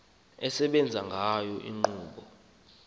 esebenza ngayo inkqubo